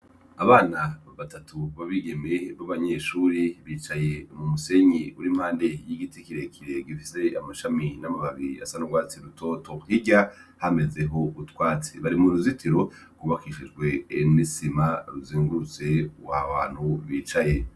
Abana batatu b'abigeme b'abanyeshure bicaye mumusenyi uri impande y'igiti kirekire gifise amashami n'amababi asa n'urwatsi rutoto. Hirya hamezeho utwatsi, bari mu ruzitiro, rwubakishijwe amabuye n'isima bizungurutse aho hantu bicaye.